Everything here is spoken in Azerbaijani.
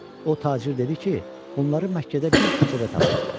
O tacir dedi ki, bunları Məkkədə bir küçədə tapıb.